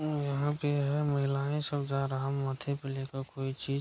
और यहाँ पे है महिलाएँ सब जा रहा माथे पे लेके कोई चीज।